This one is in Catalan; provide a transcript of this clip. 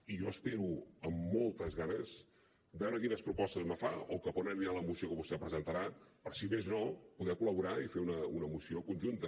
i jo espero amb moltes ganes veure quines propostes me fa o cap a on anirà la moció que vostè presentarà per si més no poder col·laborar i fer una moció conjunta